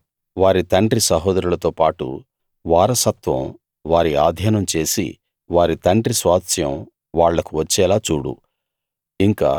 కచ్చితంగా వారి తండ్రి సహోదరులతో పాటు వారసత్వం వారి ఆధీనం చేసి వారి తండ్రి స్వాస్థ్యం వాళ్లకు వచ్చేలా చూడు